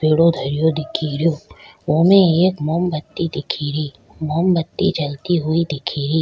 पेड़ो धरो दिखे रियो वो में एक मोम बत्ती दिखे री मोम बत्ती जलती हुई दिखे री।